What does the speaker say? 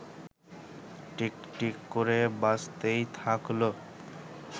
টিকটিক করে বাজতেই থাকল